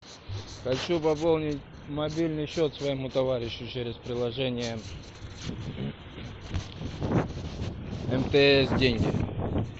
хочу пополнить мобильный счет своему товарищу через приложение мтс деньги